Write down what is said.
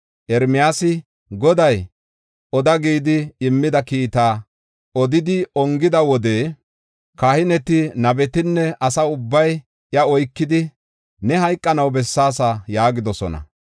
Ermiyaasi, Goday, oda gidi immida kiita odidi ongida wode kahineti, nabetinne asa ubbay iya oykidi, “Ne hayqanaw bessaasa” yaagidosona.